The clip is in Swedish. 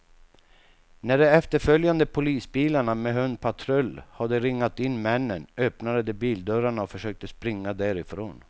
När de efterföljande polisbilarna med hundpatrull hade ringat in männen, öppnade de bildörrarna och försökte springa därifrån.